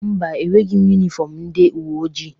Mba, enweghi m yunifọmụ ndị uweojii.